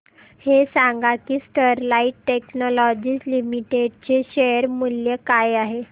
हे सांगा की स्टरलाइट टेक्नोलॉजीज लिमिटेड चे शेअर मूल्य काय आहे